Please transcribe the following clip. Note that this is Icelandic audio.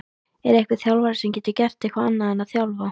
Er einhver þjálfari sem gerir ekkert annað en að þjálfa?